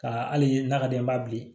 Ka hali na ka d'an ye n b'a bili